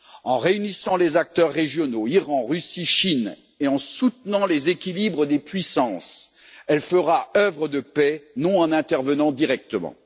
En réunissant les acteurs régionaux Iran, Russie, Chine et en soutenant les équilibres des puissances, elle fera œuvre de paix, et non en intervenant directement.